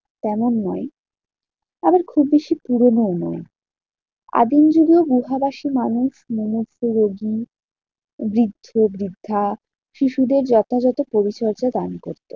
তেমন নয়। আবার খুব বেশি পুরোনোও নয়। আদিম যুগের গুহাবাসী মানুষ, মুমুর্ষ রোগী, বৃদ্ধ বৃদ্ধা, শিশুদের যথাযত পরিচর্যা দান করতেন।